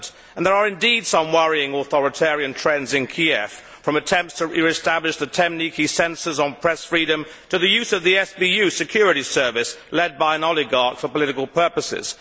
There are indeed some worrying authoritarian trends in Kiev, from attempts to re establish the temniki censorship of press freedom to the use of the FBU security service, led by an oligarch for political purposes.